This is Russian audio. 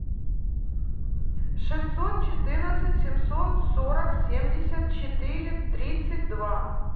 шестьсот четырнадцать семьсот сорок семьдесят четыре тридцать два